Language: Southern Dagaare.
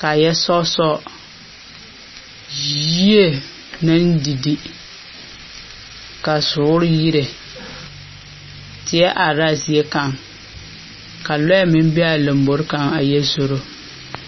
kaa yɛ sɔɔ sɔɔ. Yyie naŋ di di, ka zoore yire. Teɛ arra a zie kaŋ, ka lɔɛ meŋ be a lambori kaŋa a yɛ zoro.